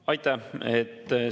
Aitäh!